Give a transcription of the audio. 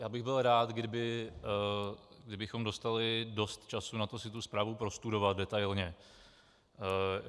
Já bych byl rád, kdybychom dostali dost času na to si tu zprávu prostudovat detailně.